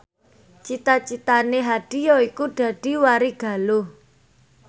cita citane Hadi yaiku dadi warigaluh